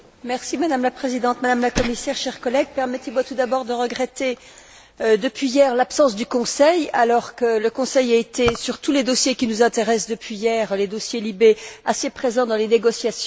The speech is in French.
Madame la Présidente, Madame la Commissaire, chers collègues, permettez moi tout d'abord de regretter depuis hier l'absence du Conseil alors que le Conseil a été, sur tous les dossiers qui nous intéressent depuis hier, les dossiers LIBE, assez présent dans les négociations.